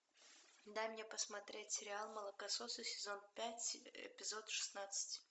дай мне посмотреть сериал молокососы сезон пять эпизод шестнадцать